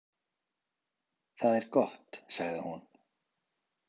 Það er gott, sagði hún.